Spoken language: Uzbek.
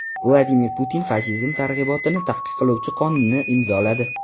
Vladimir Putin fashizm targ‘ibotini taqiqlovchi qonunni imzoladi.